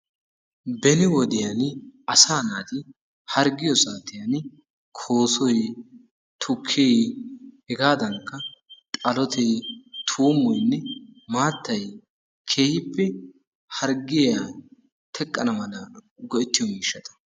Beni wodiyani asaa naati harggiyo saatiyan koosoy, tukkee, hegaadankka xalotee, tuummoynne maattay keehippe harggiya teqqana mala go'ettiyo miishshata.